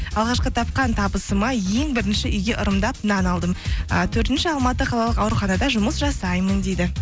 алғашқы тапқан табысыма ең бірінші үйге ырымдап нан алдым ы төртінші алматы қалалық ауруханада жұмыс жасаймын дейді